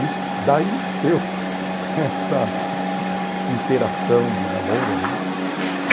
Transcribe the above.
Isso, daí nasceu esta interação de namoro, né?